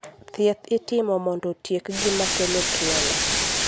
Thieth itimo mondo otiek gima kelo tuwono.